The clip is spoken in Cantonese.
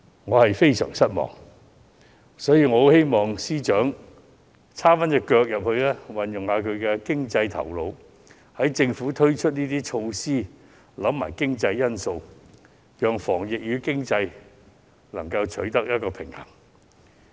我亦十分希望司長能夠參與這項政策，運用其經濟頭腦，使政府推出這些措施時一併考慮經濟因素，在防疫與經濟之間取得平衡。